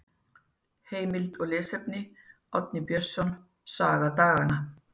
Heimild og lesefni: Árni Björnsson, Saga daganna.